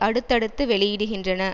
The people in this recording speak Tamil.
அடுத்தடுத்து வெளியிடுகின்றன